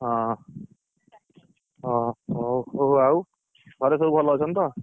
ହଁ ଓଃ ଆଉ ଘରେ ସବୁ ଭଲ ଅଛନ୍ତି ତ?